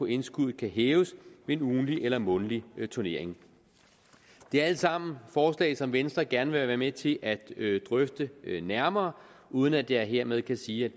indskud kan hæves ved en ugentlig eller månedlig turnering det er alle sammen forslag som venstre gerne vil være med til at drøfte nærmere uden at jeg hermed kan sige at